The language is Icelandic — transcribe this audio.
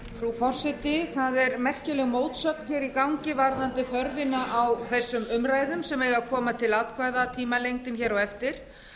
frú forseti það er merkileg mótsögn í gangi varðandi þörfina á þessum umræðum sem eiga að koma til atkvæða tímalengdin hér á eftir